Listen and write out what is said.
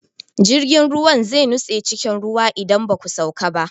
Jirgin ruwan zai nutse cikin ruwa idan ba ku sauka ba.